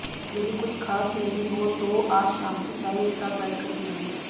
यदि कुछ खास नहीं हो तो आज शाम की चाय एक साथ बैठकर पीएंगे